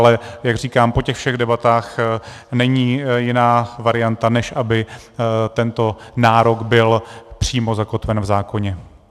Ale jak říkám, po těch všech debatách není jiná varianta, než aby tento nárok byl přímo zakotven v zákoně.